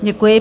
Děkuji.